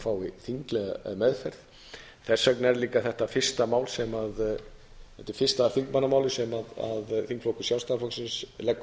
fái þinglega meðferð þess vegna er líka þetta fyrsta mál sem þetta er fyrsta þingmannamálið sem þingflokkur sjálfstæðisflokksins leggur